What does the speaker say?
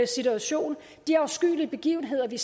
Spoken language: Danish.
situation de afskyelige begivenheder vi